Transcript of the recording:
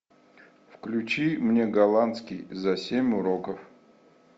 включи мне голландский за семь уроков